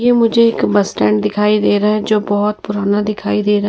यह मुझे एक बस स्टैंड दिखाई दे रहा है जो बहोत पुराना दिखाई दे रहा है।